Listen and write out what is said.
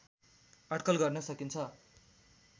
अड्कल गर्न सकिन्छ